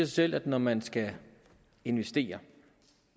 selv at når man skal investere